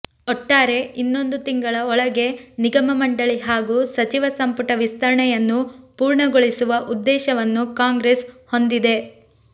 ಒಟ್ಟಾರೆ ಇನ್ನೊಂದು ತಿಂಗಳ ಒಳಗೆ ನಿಗಮ ಮಂಡಳಿ ಹಾಗೂ ಸಚಿವ ಸಂಪುಟ ವಿಸ್ತರಣೆಯನ್ನು ಪೂರ್ಣಗೊಳಿಸುವ ಉದ್ದೇಶವನ್ನು ಕಾಂಗ್ರೆಸ್ ಹೊಂದಿದೆ